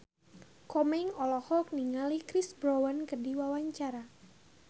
Komeng olohok ningali Chris Brown keur diwawancara